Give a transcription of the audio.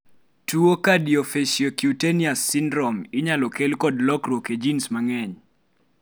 tuwo Cardiofaciocutaneous syndrome inyalo kel kod lokruok e genes mang'eny